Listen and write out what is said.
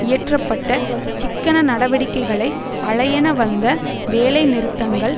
இயற்ற பட்ட சிக்கன நடவடிக்கைகளை அலையென வந்த வேலைநிறுத்தங்கள்